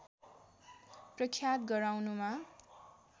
प्रख्यात गराउनमा